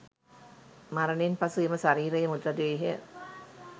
මරණයෙන් පසු එම ශරීරය මෘත දේහය